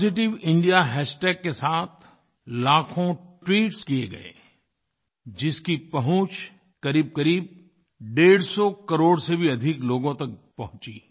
positive India hashtag के साथ लाखों ट्वीट्स किये गए जिसकी पहुँच करीबकरीब डेढ़सौ करोड़ से भी अधिक लोगों तक पहुँची